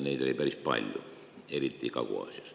Neid oli päris palju, eriti Kagu-Aasias.